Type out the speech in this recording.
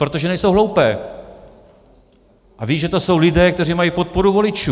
Protože nejsou hloupé a vědí, že to jsou lidé, kteří mají podporu voličů.